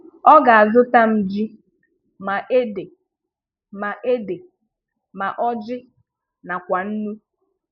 Ọ̀ ga-azù̀tà ma jí ma èdè ma èdè ma ọ́jị nakwa nnu.